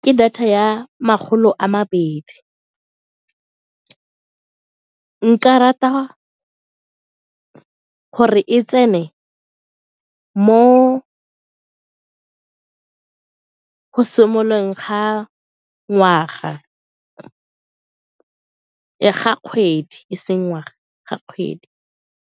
Ke data ya makgolo a mabedi, nka rata gore e tsene mo go simololeng ga ngwaga le ga kgwedi e seng ngwaga, ga kgwedi.